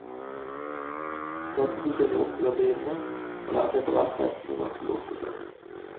Dette fikk jeg lov til å drive med, og lærte etterhvert hestene ganske godt å kjenne.